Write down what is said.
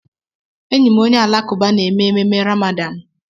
Enyi m onye Alakụba na eme ememe Ramadan.